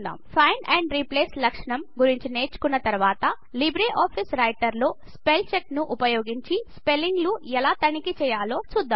find and replace లక్షణం గురించి నేర్చుకున్న తర్వాత లిబ్రే ఆఫీస్ రైటర్ లో స్పెల్ చెక్ స్పెల్చెక్ను ఉపయోగించి స్పెల్లింగ్ లు ఎలా తనిఖీ చేయాలో చూద్దాం